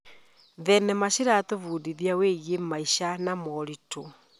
Thenema ciratũbundithia wĩgiĩ maica na moritũ.